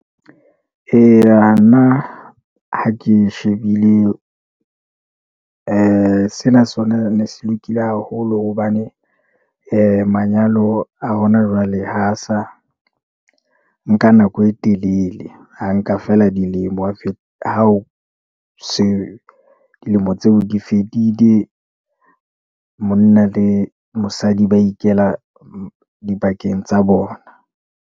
Eya, nna ha ke shebile sena sona ne se lokile haholo hobane manyalo a hona jwale ha sa nka nako e telele. A nka feela dilemo ha o se tseo di fedile, monna le mosadi ba ikela dibakeng tsa bona.